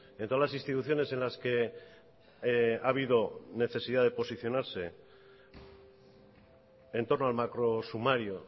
en todas las instituciones en las que ha habido necesidad de posicionarse en torno al macro sumario